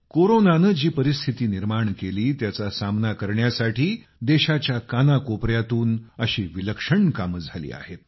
कोरोनानं जी परिस्थिती निर्माण केली त्याचा सामना करण्यासाठी देशाच्या कानाकोपऱ्यातून अशी विलक्षण कामं झाली आहेत